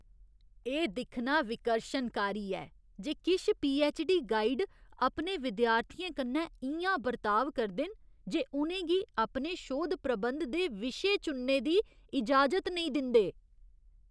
एह् दिक्खना विकर्शनकारी ऐ जे किश पीऐच्च. डी. गाइड अपने विद्यार्थियें कन्नै इ'यां बरताव करदे न जे उ'नें गी अपने शोध प्रबंध दे विशे चुनने दी इजाजत नेईं दिंदे।